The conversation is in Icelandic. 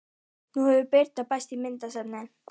Nú hefur Birna bæst í myndasafnið.